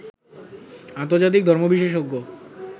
আন্তর্জাতিক ধর্ম বিশেষজ্ঞ